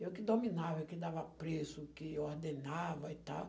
Eu que dominava, eu que dava preço, que ordenava e tal.